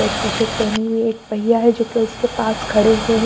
एक T shirt पहनी हुई है एक भैया हैं जोकि उसके पास खड़े हुए हैं।